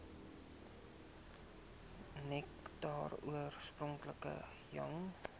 nektar oorspronklik jan